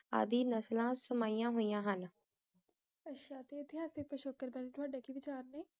ਆਦਿ ਨਸਲਾਂ ਸਮਿਯਾਂ ਹੋਈਯਾਂ ਹਨ ਆਚਾ ਤੇ ਏਤਿਹਾਸਿਕ ਬਾਰੇ ਤੁਹਾਡੇ ਕੀ ਵਿਚਾਰ ਨੇ